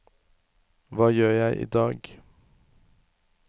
hva gjør jeg idag